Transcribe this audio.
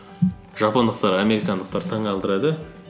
жапондықтар американдықтарды таңғалдырды